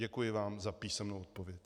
Děkuji vám za písemnou odpověď.